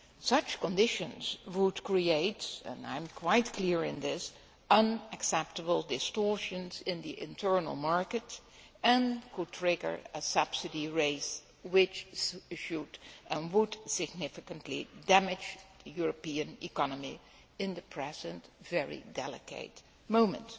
Such conditions would create and I am quite clear on this unacceptable distortions in the internal markets and could trigger a subsidy race which would significantly damage the European economy at the present, very delicate moment.